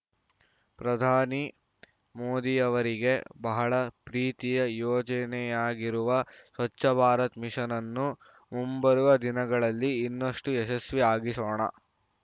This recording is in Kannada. ಪ್ರಧಾನಿ ಮೋದಿಯವರಿಗೆ ಬಹಳ ಪ್ರೀತಿಯ ಯೋಜನೆಯಾಗಿರುವ ಸ್ವಚ್ಛ ಭಾರತ ಮಿಷನ್‌ ಅನ್ನು ಮುಂಬರುವ ದಿನಗಳಲ್ಲಿ ಇನ್ನಷ್ಟುಯಶಸ್ವಿಯಾಗಿಸೋಣ